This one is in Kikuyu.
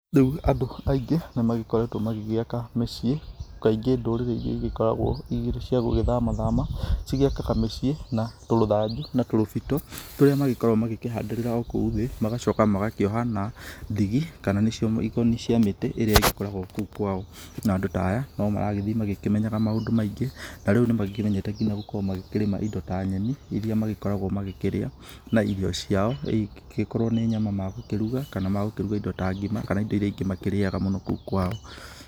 Rĩu andũ aingĩ nĩ magĩkoretwo magĩgĩaka mĩciĩ kaingĩ ndũrĩrĩ iria ĩgĩkoragwo cikĩrĩ cia gũgĩthama thama cigĩakaga mĩciĩ na tũrũbitũ tũrĩa makoragwo magĩkĩhandĩrĩra okũu thĩ magacoka magakĩoha na ndigi kana nĩcio mĩkoni cia mĩtĩ ĩrĩa ĩgĩkoragwo kũu kwao. Na andũ ta aya no magĩthiaga magĩkĩmenyaga maũndũ maingĩ. Tarĩu nĩ makĩmenyete nginya gũkorwo makĩrĩma indo ta nyeni iria magĩkoragwo magĩkĩrĩa na irio ciao , ingĩgĩkorwo nĩ nyama magũkĩruga kana magũkĩruga indo ta ngima kana indo iria ingĩ magĩkĩrĩaga mũno kũu kwao.